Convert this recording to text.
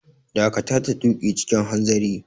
Dakata da tuƙi cikin hanzari!